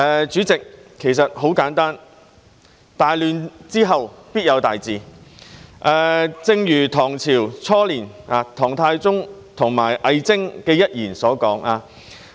主席，很簡單，大亂之後必有大治，正如唐朝初年唐太宗和魏徵的一段對話所說。